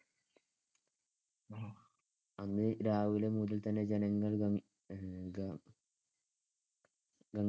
അന്ന് രാവിലെ മുതൽതന്നെ ജനങ്ങൾ ഗം~